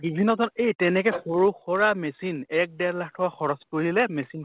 বিভিন্ন ধৰণৰ এই তেনেকে সিৰু সুৰা machine এক দেৰ লাখ টকা খৰচ কৰিলে machine